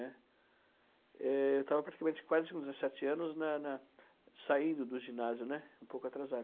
né? É, eu estava praticamente quase com dezessete anos na na saindo do ginásio, né, um pouco atrasado.